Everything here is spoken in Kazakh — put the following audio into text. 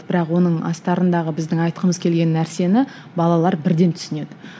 бірақ оның астарындағы біздің айтқымыз келген нәрсені балалар бірден түсінеді